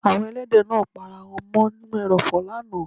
Àwọn èlẹ́dẹ̀ náà ń pa ara wọn mọ́ ínú èròfò lánàá.